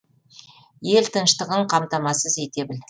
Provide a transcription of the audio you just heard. ел тыныштығын қамтамасыз ете біл